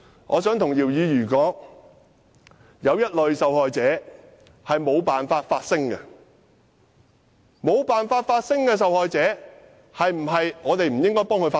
我想告訴姚議員，有一類受害者是無法發聲的，我們是否不應該替無法發聲的受害者發聲？